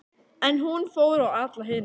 En hún fór á alla hina.